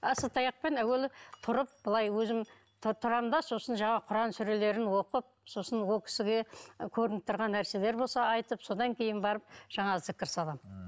асатаяқпен әуелі тұрып былай өзім тұрамын да сосын жаңағы құран сүрелерін оқып сосын ол кісіге көрініп тұрған нәрселер болса айтып содан кейін барып жаңағы зікір саламын